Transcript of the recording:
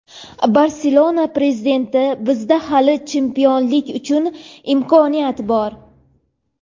"Barselona" prezidenti: "Bizda hali chempionlik uchun imkoniyat bor";.